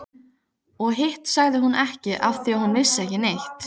Og hitt sagði hún ekki afþvíað hún vissi ekki neitt.